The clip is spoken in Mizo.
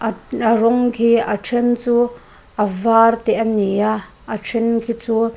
a rawng khi a then chu a var te a ni a a then khi chu--